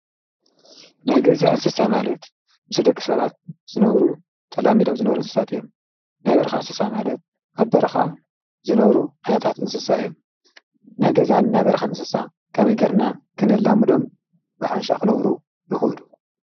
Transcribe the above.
ነገዛ እስሳ ማለት ምስ ደቕ ሰባት ዝነብሩ ተላሚዶም ዝነብሩ እንስሳት እዮም ናይ በርኻ እስሳ ማለት ኣብ በርኻ ዝነብሩ ኣነታት እንስሳ እዮም ነገዛን ናይ በርኻ ንስሳ ከም ኢገርና ክነላሙዶም ብሓንሻ ኽነብሩ ይዂዱ።